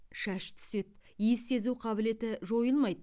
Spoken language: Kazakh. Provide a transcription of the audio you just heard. шаш түседі иіс сезу қабілеті жойылмайды